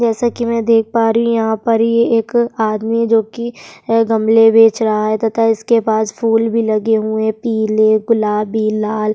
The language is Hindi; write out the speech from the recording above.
जैसा कि मैं देख पा रही है यहाँ पर ये एक आदमी है जो कि गमले बेच रहा है तथा इसके पास फूल भी लगे हुए हैं पीले गुलाबी लाल --